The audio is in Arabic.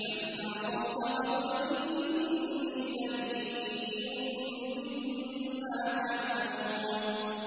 فَإِنْ عَصَوْكَ فَقُلْ إِنِّي بَرِيءٌ مِّمَّا تَعْمَلُونَ